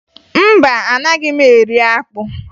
Mba, anaghị m eri akpụ